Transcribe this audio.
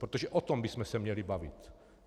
Protože o tom bychom se měli bavit.